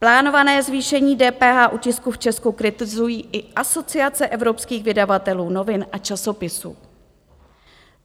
Plánované zvýšení DPH u tisku v Česku kritizuje i Asociace evropských vydavatelů novin a časopisů.